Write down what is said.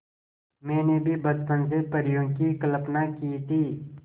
मैंने भी बचपन से परियों की कल्पना की थी